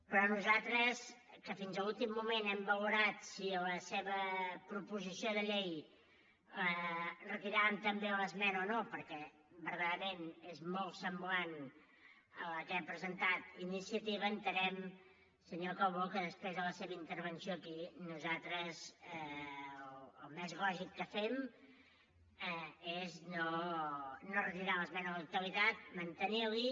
però nosaltres que fins a l’últim moment hem valorat si a la seva proposició de llei retiràvem també l’esmena o no perquè verdaderament és molt semblant a la que ha presentat iniciativa entenem senyor calbó que després de la seva intervenció aquí nosaltres el més lògic que fem és no retirar hi l’esmena a la totalitat mantenir la hi